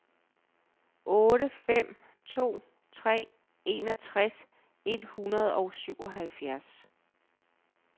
otte fem to tre enogtres et hundrede og syvoghalvfjerds